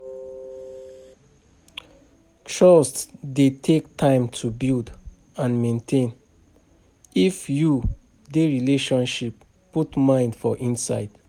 Trust dey take time to build and maintain, if you dey relationship, put mind for inside